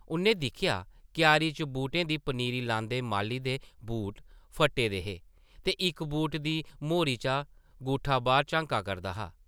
उʼन्नै दिक्खेआ क्यारी च बूह्टें दी पनीरी लांदे माली दे बूट फट्टे दे हे ते इक बूटा दी मोह्री चा ङूठा बाह्र झांका करदा हा ।